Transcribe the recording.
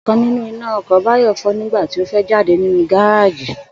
Ò̩kan nínú iná o̩kò̩ Báyò̩ fó̩ nígbà tí ó fé̩ jáde nínú gáráàjì